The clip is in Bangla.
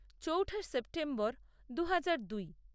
চৌঠা সেপ্টেম্বর দু হাজার দুই